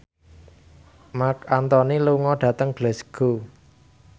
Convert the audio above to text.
Marc Anthony lunga dhateng Glasgow